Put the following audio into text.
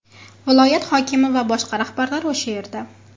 Viloyat hokimi va boshqa rahbarlar o‘sha yerda.